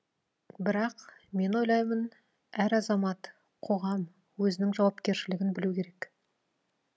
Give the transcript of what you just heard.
бірақ мен ойлаймын әр азамат қоғам өзінің жауапкершілігін білу керек